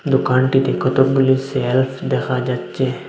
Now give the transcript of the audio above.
দোকানটিতে কতগুলি সেলফ দেখা যাচ্ছে।